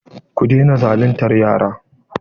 Ku daina zaluntar yara!